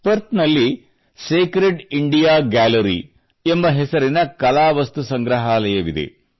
Perth ನಲ್ಲಿ sacred India gallery ಎಂಬ ಹೆಸರಿನ ಕಲಾ ವಸ್ತು ಸಂಗ್ರಹಾಲಯವಿದೆ